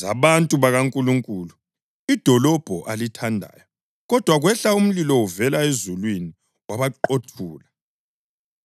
zabantu bakaNkulunkulu, idolobho alithandayo. Kodwa kwehla umlilo uvela ezulwini wabaqothula.